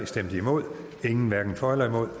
hverken for eller imod